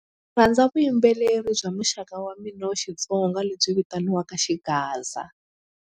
Rhandza vuyimbeleri bya muxaka wa mina wa Xitsonga lebyi vitaniwaka xigaza.